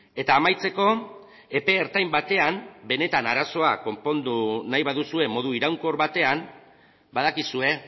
eta amaitzeko epe ertain batean benetan arazoa konpondu nahi baduzue modu iraunkor batean badakizue